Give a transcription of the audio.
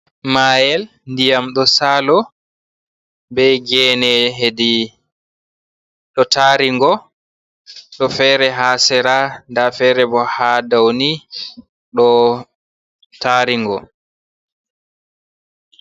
Mael diyam ɗo salo be gene heɗi ɗo tarigo ɗo fere ha sera. Ɗaa fere bo ha ɗauni ɗo taringo.